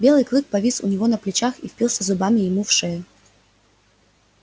белый клык повис у него на плечах и впился зубами ему в шею